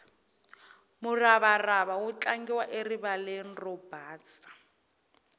muravarava wu tlangiwa erivaleni ro basa